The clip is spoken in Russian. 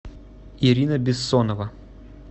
ирина бессонова